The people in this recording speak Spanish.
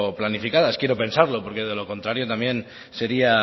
planificadas quiero pensarlo porque de lo contrario también sería